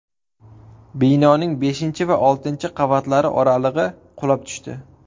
Binoning beshinchi va oltinchi qavatlari oralig‘i qulab tushdi.